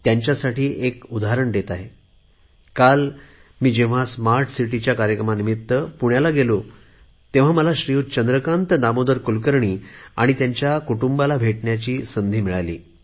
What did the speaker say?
त्यांच्यासाठी खास उदाहरण देत आहे मी काल जेव्हा स्मार्ट सिटीच्या कार्यक्रमानिमित्त पुण्याला गेलो होतो तेव्हा मला श्रीयुत चंद्रकांत दामोदर कुलकर्णी आणि त्यांच्या परिवाराला भेटण्याची सुसंधी मिळाली